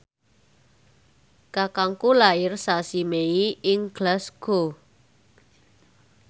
kakangku lair sasi Mei ing Glasgow